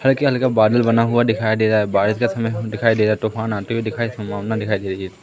हल्की हल्का बादल बना हुआ दिखाई दे रहा बारिश का समय दिखाई दे रहा तूफान आते हुए दिखाई सम्भावना दिखाई दे रही है।